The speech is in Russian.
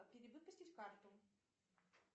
перевыпустить карту